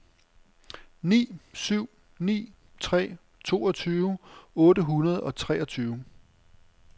ni syv ni tre toogtyve otte hundrede og treogtyve